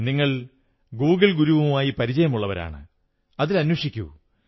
നിങ്ങൾ ഗൂഗിൾ ഗുരുവുമായി പരിചയമുള്ളവരാണ് അതിൽ അന്വേഷിക്കൂ